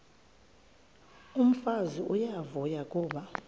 umfazi uyavuya kuba